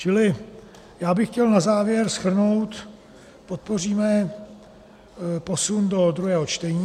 Čili já bych chtěl na závěr shrnout, podpoříme posun do druhého čtení.